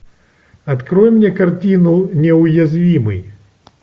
открой мне картину неуязвимый